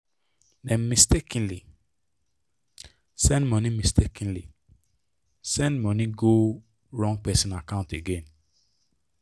dem mistakenly send money mistakenly send money go wrong person account again.